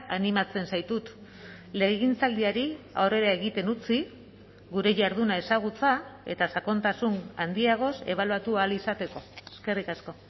animatzen zaitut legegintzaldiari aurrera egiten utzi gure jarduna ezagutza eta sakontasun handiagoz ebaluatu ahal izateko eskerrik asko